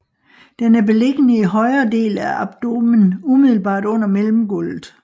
Den er beliggende i højre del af abdomen umiddelbart under mellemgulvet